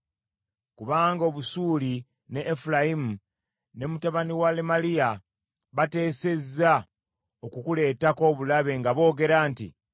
Kubanga Obusuuli ne Efulayimu ne mutabani wa Lemaliya bateesezza okukuleetako obulabe nga boogera nti,